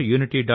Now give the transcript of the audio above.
gov